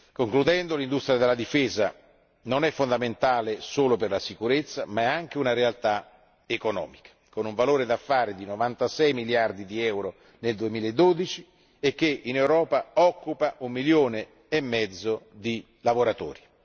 Concludendo, l'industria della difesa non è fondamentale solo per la sicurezza, ma anche una realtà economica, con una cifra d'affari di 96 miliardi di euro nel 2012, che in Europa occupa un milione e mezzo di lavoratori.